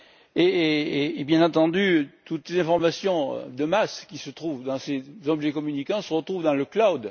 Et bien entendu, toutes les informations de masse qui se trouvent dans ces objets communicants se retrouvent dans le cloud.